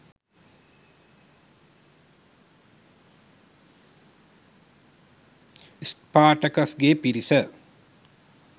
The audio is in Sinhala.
ස්පාටකස්ගේ පිරිස